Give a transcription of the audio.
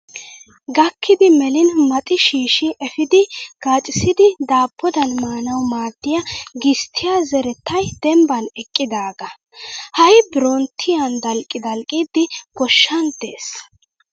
Gakkidi melin maxi shiishshi epiidi gacissidi daabbodan maanawu maaddiyaa gisttiyaa zerettayi dembban eqqidaagaa. Ha'i biron tiyan dalqqi dalqqiiddi goshshan des.